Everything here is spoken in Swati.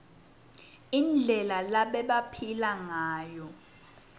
indlela lebabephila ngayo